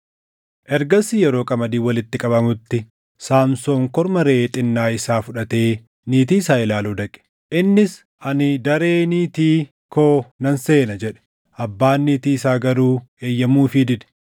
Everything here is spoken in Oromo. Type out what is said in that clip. Ergasii yeroo qamadiin walitti qabamutti Saamsoon korma reʼee xinnaa isaa fudhatee niitii isaa ilaaluu dhaqe. Innis, “Ani daree niitii koo nan seena” jedhe. Abbaan niitii isaa garuu eeyyamuufii dide.